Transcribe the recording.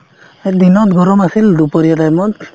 এই দিনত গৰম আছিল দুপৰীয়া time ত